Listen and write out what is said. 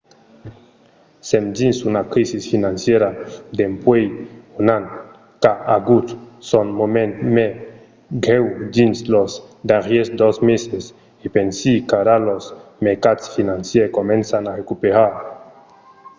sèm dins una crisi financièra dempuèi un an qu'a agut son moment mai grèu dins los darrièrs dos meses e pensi qu’ara los mercats financièrs començan a recuperar.